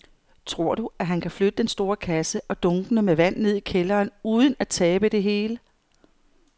Tror du, at han kan flytte den store kasse og dunkene med vand ned i kælderen uden at tabe det hele?